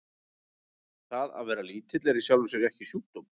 Það að vera lítill er í sjálfu sér ekki sjúkdómur.